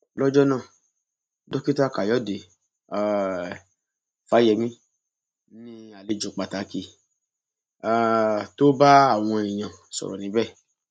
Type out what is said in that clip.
lọjọ náà dókítà káyọdé um fáyemí ni àlejò pàtàkì um tó bá àwọn èèyàn sọrọ níbẹ